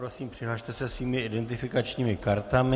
Prosím, přihlaste se svými identifikačními kartami.